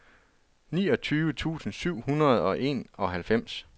niogtyve tusind syv hundrede og enoghalvfems